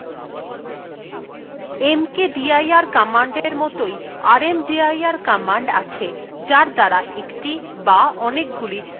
mkdir commandএর মতই rmdir command আছে যার দ্বারা একটি বা অনেকগুলি directory ডিলিট বা সরিয়ে দেওয়া যায়